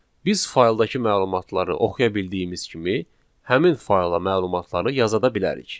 Biz fayldakı məlumatları oxuya bildiyimiz kimi, həmin fayla məlumatları yaza da bilirik.